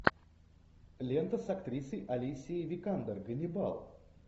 лента с актрисой алисией викандер ганнибал